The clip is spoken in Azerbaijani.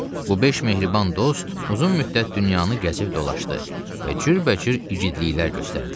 Bu beş mehriban dost uzun müddət dünyanı gəzib dolaşdı və cürbəcür igidliklər göstərdilər.